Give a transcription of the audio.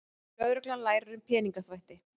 Lögreglan lærir um peningaþvætti